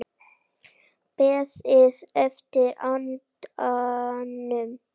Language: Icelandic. Beðið eftir andanum